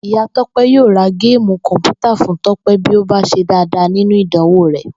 Ìyá Tó̩pé̩ yóò ra géèmù kò̩mpútà fún Tó̩pè bí ó bá s̩e dáadáa nínú ìdánwò rè̩